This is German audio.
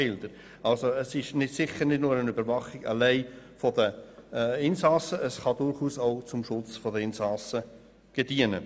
Es geht also nicht allein um die Überwachung der Insassen, die Überwachung kann durchaus auch dem Schutz der Insassen dienen.